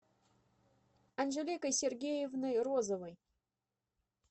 анжеликой сергеевной розовой